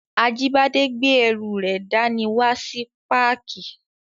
Ajíbádé gbé ẹrù rẹ̀ dá ní wá sí páàkì